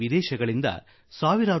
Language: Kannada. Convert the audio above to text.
ಈ ಮರಗಳಿಂದ ಮರಮುಟ್ಟು ಸಿಗುತ್ತದೆ